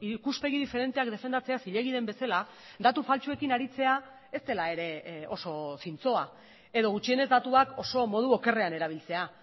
ikuspegi diferenteak defendatzea zilegi den bezala datu faltsuekin aritzea ez dela ere oso zintzoa edo gutxienez datuak oso modu okerrean erabiltzea